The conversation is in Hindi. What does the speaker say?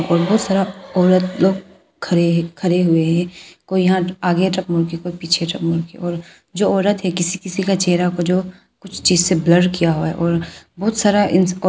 और बहुत सारा औरत लोग खड़े हैं खड़े हुए हैं कोई यहां आगे की ओर मुंह तो कोई पीछे की ओर मुंह जो औरत है किसी किसी का चेहरा को जो कुछ चीज से ब्लर किया हुआ है और बहुत सारा--